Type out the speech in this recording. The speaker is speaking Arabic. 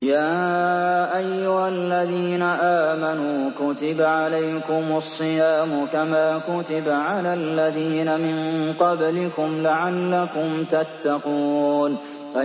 يَا أَيُّهَا الَّذِينَ آمَنُوا كُتِبَ عَلَيْكُمُ الصِّيَامُ كَمَا كُتِبَ عَلَى الَّذِينَ مِن قَبْلِكُمْ لَعَلَّكُمْ تَتَّقُونَ